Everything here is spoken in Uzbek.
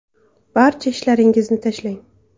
Barcha ishlaringizni tashlang.